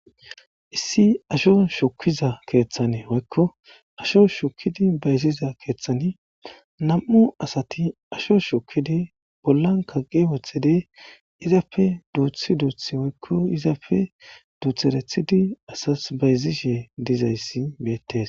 issi asho shukiza keeththane woykko asho shukidi bayziza keeththani nam7u asati asho shukidi bollan kaqi wothedi izafe duuthi duuthi woykko izafe duutherethidi asas bayzishe dizayssi beettes